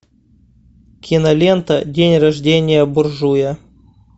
кинолента день рождения буржуя